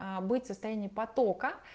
быть в состоянии потока